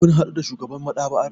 Ka hadu da shugaban maɗaba'ar?